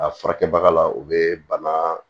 A furakɛbaga la u be bana